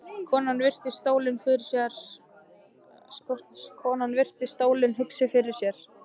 Konan virti stólinn hugsi fyrir sér.